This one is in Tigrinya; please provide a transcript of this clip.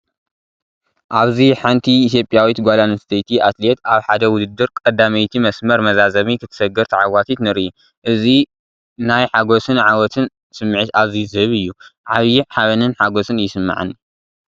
ኣብዚ ሓንቲ ኢትዮጵያዊት ጓል ኣንስተይቲ ኣትሌት ኣብ ሓደ ውድድር ቀዳመይቲ መስመር መዛዘሚ ክትሰግር፡ ተዓዋቲት ትርኢ። እዚ ናይ ሓጎስን ዓወትን ስምዒት ኣዝዩ ዝሀብ እዩ። ዓቢ ሓበንን ሓጐስን ይስምዓኒ።